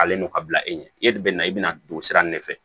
A n'o ka bila e ɲɛ e de bɛ na i bɛna don sira in de fɛ